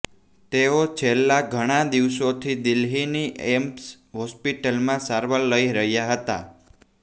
તેઓ છેલ્લા ઘણા દિવસોથી દિલ્હીની એઈમ્સ હોસ્પિટલમાં સારવાર લઈ રહ્યા હતા